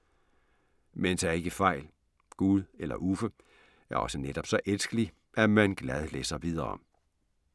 Men tag ikke fejl. Gud, eller Uffe, er også netop så elskelig, at man glad læser videre.